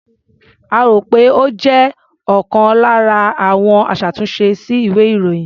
A rò pé ó jẹ́ ọlkan lára àwọn aṣàtúnṣe sí ìwé-ìròyìn.